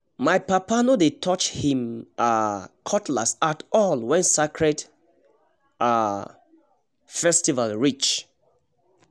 my papa no no dey touch him um cutlass at all when sacred um festival reach